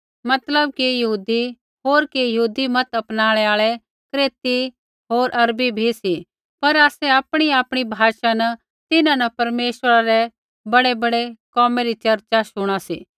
मतलब कि यहूदी होर कि यहूदी मत अपनाणै आल़ै क्रेती होर अरबी भी सी पर आसै आपणीआपणी भाषा न तिन्हां न परमेश्वरै रै बड़ैबड़ै कोमै री चर्चा शुणा सी